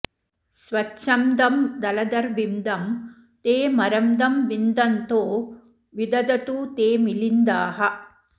स्वच्छंदं दलदर्विंदम् ते मरंदं विंदंतो विदधतु ते मिलिंदाः